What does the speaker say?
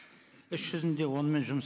іс жүзінде онымен жұмыс